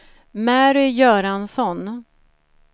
Mary Göransson